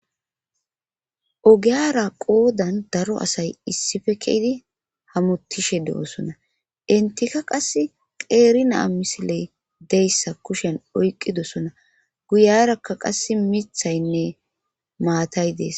Ogiyara qoodan daro asay issife keydi hamutishe de7oosona intika qas qeerinaa misiley deyssa kushen oyqidosona guyarakka qass mithaynne maatay dees